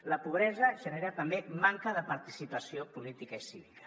la pobresa genera també manca de participació política i cívica